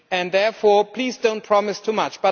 Therefore, please do not promise too much.